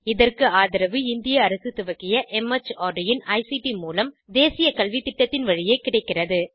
இதற்கு ஆதரவு இந்திய அரசு துவக்கிய மார்ட் இன் ஐசிடி மூலம் தேசிய கல்வித்திட்டத்தின் வழியே கிடைக்கிறது